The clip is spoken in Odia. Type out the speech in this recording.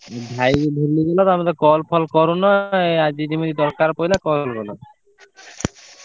ଭାଇକି ଭୁଲି ଗଲ ତମେ ତ call ଫଲ କରୁନ ଆଜି ଯେମିତି ଦରକାର ପଡିଲା call କଲ।